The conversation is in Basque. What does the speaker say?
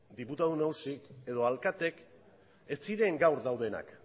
diputatu nagusiek edo alkateek ez ziren gaur daudenak